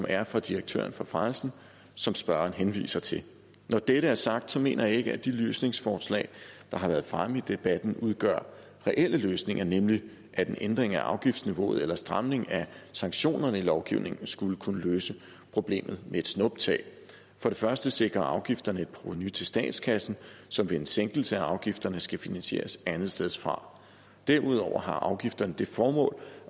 er fra direktøren for branchen og som spørgeren henviser til når det er sagt mener jeg ikke at de løsningsforslag der har været fremme i debatten udgør reelle løsninger nemlig at en ændring af afgiftsniveauet eller stramning af sanktionerne i lovgivningen skulle kunne løse problemet med et snuptag for det første sikrer afgifterne et provenu til statskassen som ved en sænkelse af afgifterne skal finansieres andetsteds fra derudover har afgifterne det formål